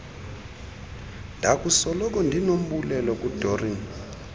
ndakusoloko ndinombulelo kudoreen